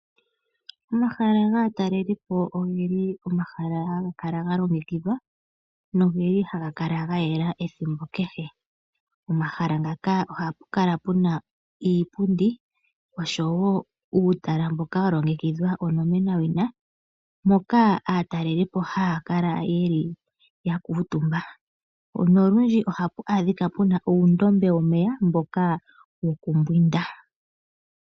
Omahala gaatalelipo ogeli omahala haga kala ga longekidhwa nogeli haga kala ga yela ethimbo kehe . Omahala ngaka ohapu kala puna iipundi osho woo uutala mboka wa longekidhwa onomenawina moka aatalelipo haya kala yeli ya kuutumba nolundji ohapu adhika puna uundombe womeya mboka woku mbwinda .